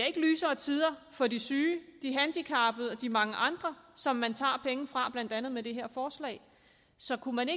ikke lysere tider for de syge de handicappede og de mange andre som man tager penge fra blandt andet med det her forslag så når man